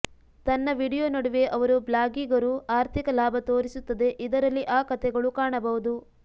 ತನ್ನ ವೀಡಿಯೊ ನಡುವೆ ಅವರು ಬ್ಲಾಗಿಗರು ಆರ್ಥಿಕ ಲಾಭ ತೋರಿಸುತ್ತದೆ ಇದರಲ್ಲಿ ಆ ಕಥೆಗಳು ಕಾಣಬಹುದು